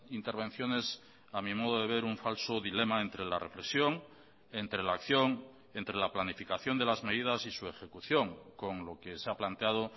intervenciones a mi modo de ver un falso dilema entre la reflexión entre la acción entre la planificación de las medidas y su ejecución con lo que se ha planteado